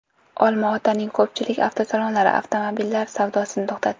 Olma-Otaning ko‘pchilik avtosalonlari avtomobillar savdosini to‘xtatdi.